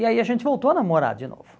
E aí a gente voltou a namorar de novo.